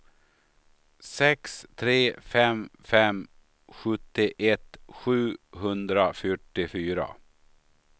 sex tre fem fem sjuttioett sjuhundrafyrtiofyra